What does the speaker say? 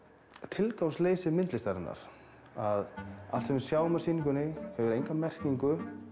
tilgangsleysi myndlistarinnar að allt sem við sjáum á sýningunni hefur enga merkingu